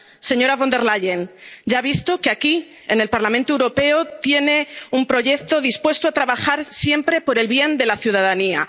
Señora von der Leyen, ya ha visto que aquí, en el Parlamento Europeo, tiene un proyecto dispuesto a trabajar siempre por el bien de la